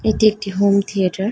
এটি একটি home theatre.